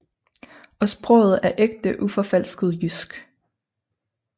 Og sproget er ægte uforfalsket jysk